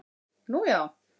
Nú, já